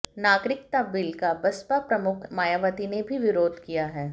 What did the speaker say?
नागरिकता बिल का बसपा प्रमुख मायावती ने भी विरोध किया है